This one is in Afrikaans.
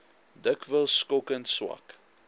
dikwels skokkend swak